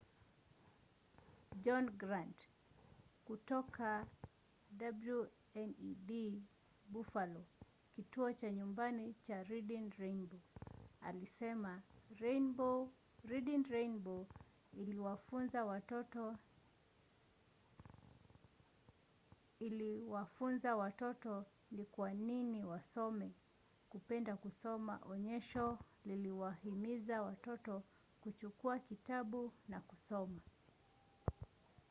john grant kutoka wned buffalo kituo cha nyumbani cha reading rainbow alisema reading rainbow iliwafunza watoto ni kwa nini wasome, kupenda kusoma — [onyesho] liliwahimiza watoto kuchukua kitabu na kusoma.